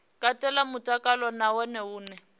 katela mutakalo na hone hune